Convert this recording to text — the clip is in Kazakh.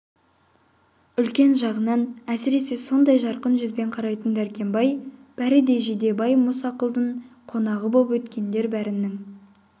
үлкен жағынан әсіресе сондай жарқын жүзбен қарайтын дәркембай бәрі де жидебай мұсақұлдың қонағы боп өткендер бәрінін